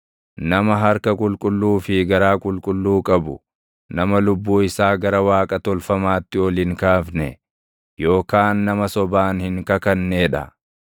Nama harka qulqulluu fi garaa qulqulluu qabu, nama lubbuu isaa gara waaqa tolfamaatti ol hin kaafne yookaan nama sobaan hin kakannee dha.